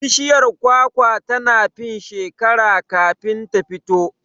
Bishiyar kwakwa tana fin shekera kafin ta fito